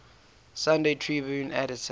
sunday tribune editor